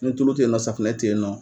Ni tulu tɛ yen nɔ safunɛ tɛ yen nɔ.